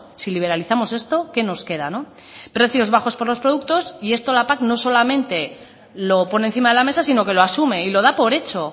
si liberalizamos esto qué nos queda precios bajos por los productos y esto la pac lo solamente lo pone encima de la mesa sino que lo asume y lo da por hecho